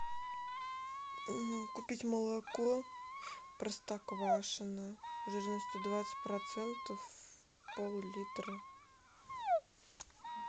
купить молоко простоквашино жирностью двадцать процентов пол литра